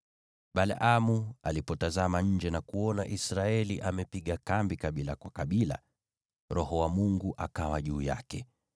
Balaamu alipotazama nje na kuona Israeli amepiga kambi kabila kwa kabila, Roho wa Mungu akawa juu yake,